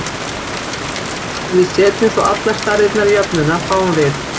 Ef við setjum svo allar stærðirnar í jöfnuna, fáum við